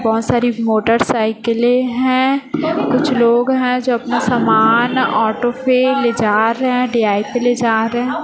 बहोत सारे मोटरसाइकिलें हैं कुछ लोग हैं जो अपना समान ऑटो पे ले जा रहे हैं पे ले जा रहे--